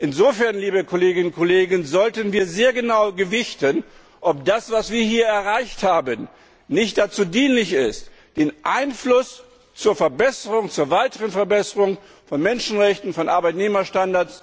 Insofern, liebe Kolleginnen und Kollegen, sollten wir sehr genau gewichten, ob das, was wir hier erreicht haben, nicht dazu dienlich ist, den Einfluss auf die weitere Verbesserung von Menschenrechten, von Arbeitnehmerstandards